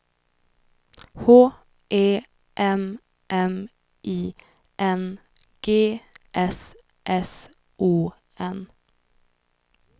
H E M M I N G S S O N